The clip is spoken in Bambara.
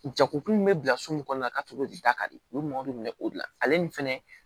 Jakokun bɛ bila so min kɔnɔ na ka tɛmɛ de da ka di u ye mɔgɔ de bi minɛ o de la ale ni fɛnɛ